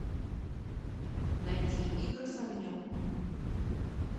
найти игры с огнем